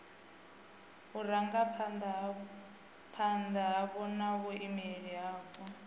vhurangaphanda hapo na vhaimeleli vhapo